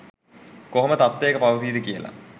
කොහොම තත්වයක පවතියිද කියලා